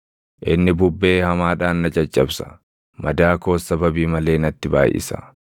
Inni bubbee hamaadhaan na caccabsa; madaa koos sababii malee natti baayʼisa.